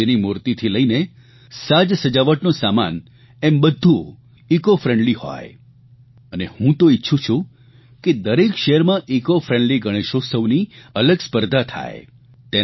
ગણેશજીની મૂર્તિથી લઇને સાજસજાવટનો સામાન એમ બધું ઇકોફ્રેન્ડલી હોય અને હું તો ઇચ્છું છું કે દરેક શહેરમાં ઇકોફ્રેન્ડલી ગણેશઉત્સવની અલગ સ્પર્ધા થાય